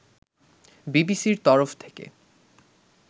বিবিসির তরফ থেকে